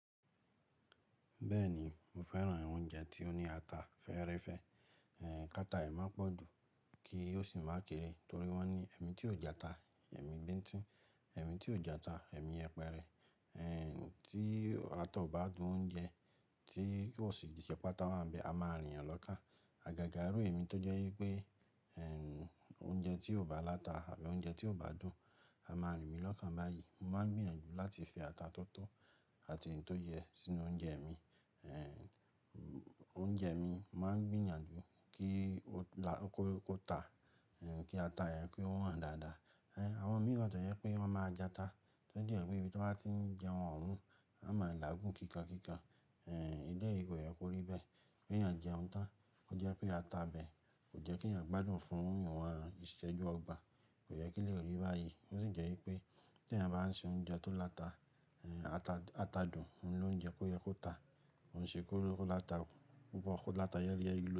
Bẹ́ẹ̀ ni, mo fẹ́ràn oúnjẹ tí ó ní ata fẹ́ẹ́rẹ́fẹ́. Eh, kátà ẹ má pọ́ dùn, kí ó sì má kere torí wọ́n ní ẹ̀mí tí ò játa, ẹ̀mí gbé ń tín, ẹ̀mí tí ò játa, ẹ̀mí yẹpẹrẹ. Eh, tí atá o bá dùn oúnjẹ tí kò sì diṣẹ́pà táwọn bẹ, a má rìn ẹ lọ ká. Àgàgà irú èmi tó jẹ́ wípé, eh, oúnjẹ tí ò bá láta àbí oúnjẹ tí ò bá dùn, a má rìn mí lọ́kàn báyìí. Mo máa ń gbìyànjú láti fi ata tótó àti ohun tó yẹ sínú oúnjẹ mi. Eh, oúnjẹ mi, mo máa ń gbìyànjú kí ó kó tá, eh, kí ata yẹn pé wọ́n dáadáa. Eh, àwọn mìíràn tó jẹ́ pé wọ́n máa játa, tó jẹ́ wípé bí wọ́n bá tí ń jẹ ohun, wọ́n máa ń làágùn kíkankíkan. Eh, ilé yìí kò yẹ kó rí bẹ́ẹ̀. Bí èèyàn jẹun tán, ó jẹ́ pé ata bẹ́ẹ̀ kò jẹ́ kí èèyàn gbádùn fún òun, ìṣẹ́jú ọgbà kò yẹ kí lè rí báyìí. Ó sì jẹ́ wípé tí èèyàn bá ń se oúnjẹ tó láta, eh, ata dùn, òun ló ń jẹ kó yẹ kó tá. Ohun ṣe kó láta púpọ̀, kó láta yẹ́rí yẹ́rí lo.